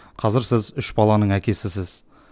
қазір сіз үш баланың әкесісіз